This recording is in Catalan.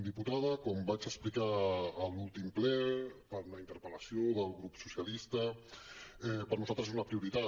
diputada com vaig explicar a l’últim ple per una interpel·lació del grup socialistes per nosaltres és una prioritat